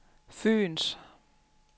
Fyens